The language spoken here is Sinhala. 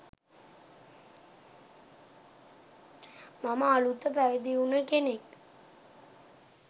මම අලුත පැවිදි වුණ කෙනෙක්,